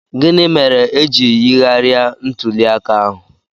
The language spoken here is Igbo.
Gịnị mere e ji yigharịa ntuli aka ahụ?